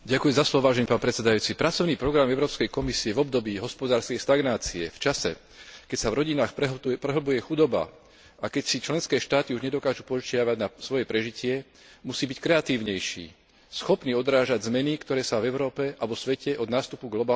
Pracovný program Európskej komisie v období hospodárskej stagnácie, v čase, keď sa v rodinách prehlbuje chudoba a keď si členské štáty už nedokážu požičiavať na svoje prežitie, musí byť kreatívnejší, schopný odrážať zmeny, ktoré sa v Európe a vo svete od nástupu globálnej krízy udiali.